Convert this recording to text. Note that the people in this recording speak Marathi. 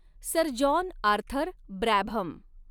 sir John Arthur Brabham